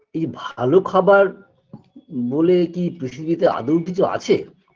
এই ভালো খাবার বলে কী পৃথিবীতে আদৌ কিছু আছে